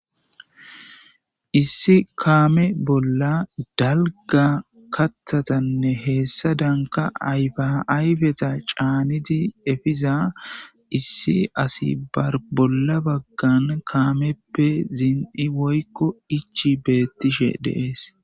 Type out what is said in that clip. issi kaame bolla dalga kathatanne heessa danka ayfayfeta caaniti efiza issi asi bolla baggan kaameppe ziin7i woykko ichi beettishe deees